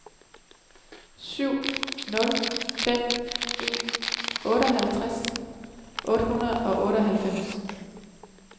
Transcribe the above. syv nul fem en otteogtres otte hundrede og otteoghalvfems